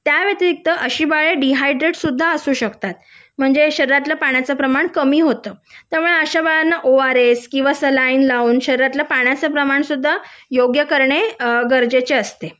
त्या व्यतिरिक्त ही बाळे डीहायड्रेट सुद्धा असू शकतात म्हणजे शरीरातल्या पाण्याचं प्रमाण कमी होतं त्यामुळे अशा बाळांना ओ आर एस किंवा सलाईन लावून पाण्याचे प्रमाण सुद्धा योग्य करणे गरजेचे असते